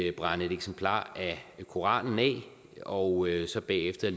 at brænde et eksemplar af koranen af og så bagefter